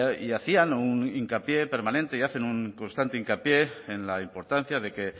y hacían un hincapié permanente y hacen un constante hincapié en la importancia de que